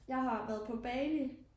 Jeg har været på Bali